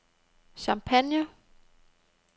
Champagne